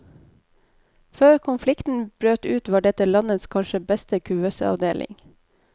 Før konflikten brøt ut var dette landets kanskje beste kuvøseavdeling.